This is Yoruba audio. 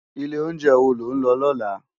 Ilé óunjè wó ló n lò lòlá?